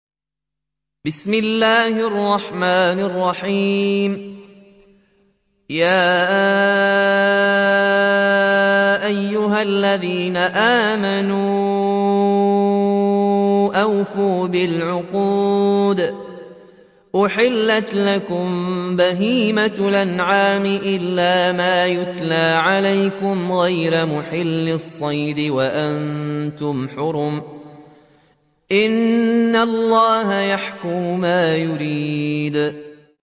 يَا أَيُّهَا الَّذِينَ آمَنُوا أَوْفُوا بِالْعُقُودِ ۚ أُحِلَّتْ لَكُم بَهِيمَةُ الْأَنْعَامِ إِلَّا مَا يُتْلَىٰ عَلَيْكُمْ غَيْرَ مُحِلِّي الصَّيْدِ وَأَنتُمْ حُرُمٌ ۗ إِنَّ اللَّهَ يَحْكُمُ مَا يُرِيدُ